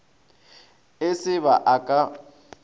e se ba a ka